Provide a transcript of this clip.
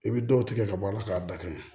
I bɛ dɔw tigɛ ka bɔ a la k'a dafa